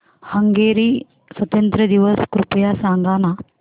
Hungary स्वातंत्र्य दिवस कृपया सांग ना